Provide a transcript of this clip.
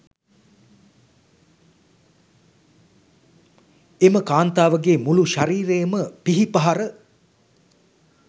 එම කාන්තාවගේ මුළු ශරීරයම පිහිපහර